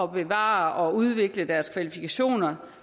bevare og udvikle deres kvalifikationer